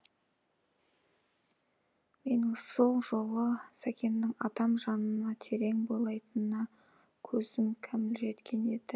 менің сол жолы сәкеңнің адам жанына терең бойлайтынына көзім кәміл жеткен еді